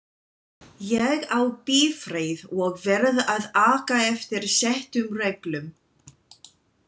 Ég á bifreið og verð að aka eftir settum reglum.